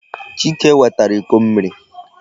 Chike wetara iko mmiri.